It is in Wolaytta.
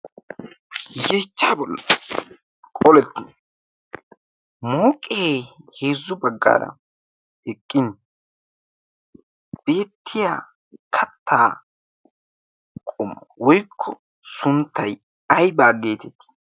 Yeechchaa bollan qolettii mooqee heezzu baggaara eqqin beettiya kattaa qommoy woykko sunttay aybaa geetettii?